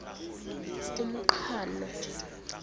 umqhano